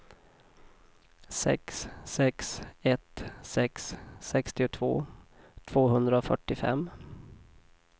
sex sex ett sex sextiotvå tvåhundrafyrtiofem